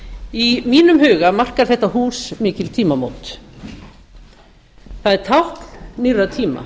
í mínum huga markar þetta hús mikil tímamót það er tákn nýrra tíma